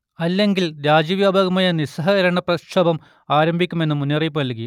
അല്ലെങ്കിൽ രാജ്യവ്യാപകമായ നിസ്സഹകരണ പ്രക്ഷോഭം ആരംഭിക്കും എന്നു മുന്നറിയിപ്പുനൽകി